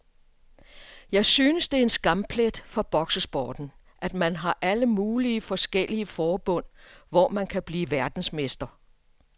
Jeg synes det er en skamplet for boksesporten, at man har alle mulige forskellige forbund, hvor man kan blive verdensmester.